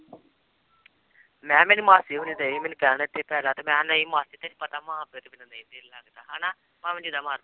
ਮੈਂ ਕਿਹਾ ਮੇਰੀ ਮਾਸੀ ਹੋਣੀ ਡਏ ਸੀ ਮੈਨੂੰ ਕਹਿਣ ਇੱਥੇ ਪੈ ਜਾ ਤੇ ਮੈਂ ਕਿਹਾ ਨਹੀਂ ਮਾਸੀ ਤੈਨੂੰ ਪਤਾ ਮਾਂ ਪਿਓ ਦੇ ਬਿਨਾਂ ਨਹੀਂ ਦਿਲ ਲੱਗਦਾ ਹਨਾ ਭਾਵੇਂ ਜਿੰਨਾ ਮਰ